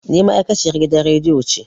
Ni ma'aikaciyan gidan radiyo ce